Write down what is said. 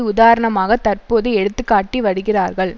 உதாரணமாக தற்போது எடுத்து காட்டி வருகிறார்கள்